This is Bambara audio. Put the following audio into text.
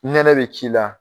Nɛnɛ bɛ ki la.